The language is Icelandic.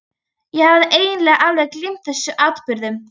Ég hafði eiginlega alveg gleymt þessum atburðum.